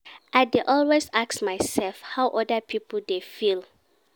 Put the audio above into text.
I dey always ask mysef how oda pipo dey feel.